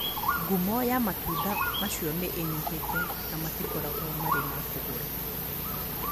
Ngumo ya matunda macio nĩ ĩnyihĩte na matikoragwo marĩ ma kũgũra.